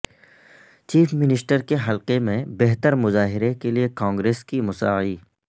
chief minister کے حلقے میں بہتر مظاہرے کے لیے کانگریس کی مساعی